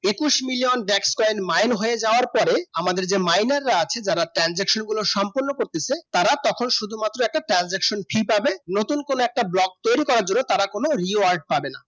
একুশ million black coin mine হয়ে যাবার পরে আমাদের এই মাইলাররা আছে যারা transaction গুলো সম্পূর্ণ করতেছে তারা তখন শুধু মাত্র একটা transaction ফি পাবে নতুন করে একটা block তৈরি করার জন্য তারা কোনো rewards পাবে না